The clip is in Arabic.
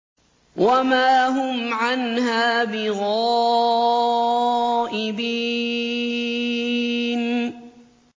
وَمَا هُمْ عَنْهَا بِغَائِبِينَ